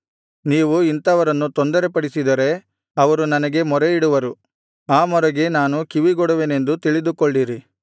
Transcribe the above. ನೀವು ಇಂಥವರನ್ನು ತೊಂದರೆಪಡಿಸಿದರೆ ಅವರು ನನಗೆ ಮೊರೆಯಿಡುವರು ಆ ಮೊರೆಗೆ ನಾನು ಕಿವಿಗೊಡುವೆನೆಂದು ತಿಳಿದುಕೊಳ್ಳಿರಿ